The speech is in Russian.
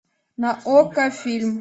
на окко фильм